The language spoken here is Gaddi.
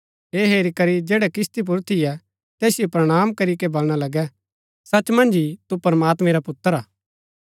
ऐह हेरी करी जैड़ै किस्ती पुर थियै तैसिओ प्रणाम करीके बलणा लगै सच मन्ज ही तू प्रमात्मैं रा पुत्र हा